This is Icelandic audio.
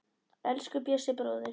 Elsku Bjössi bróðir.